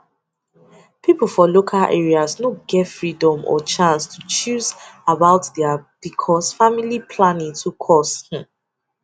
people for local areas no get freedom or chance to choose about their because family planning too cost hmm